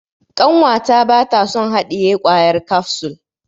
Ƙanwata bata son haɗiye kwayar kafsul.